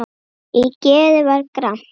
Í geði var gramt.